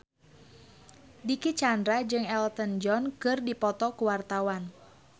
Dicky Chandra jeung Elton John keur dipoto ku wartawan